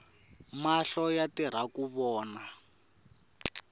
mahlo yatirhaku vona